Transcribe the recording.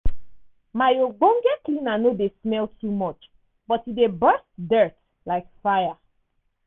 my ogbonge cleaner no dey smell too much but e dey burst dirt like fire!.